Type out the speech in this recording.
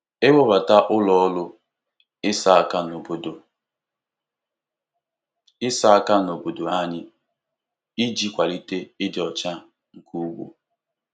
Ewebata ụlọ ọrụ ịsa aka n'obodo ịsa aka n'obodo anyị iji kwalite ịdị ọcha nke ugbo.